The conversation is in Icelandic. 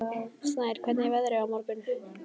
Snær, hvernig verður veðrið á morgun?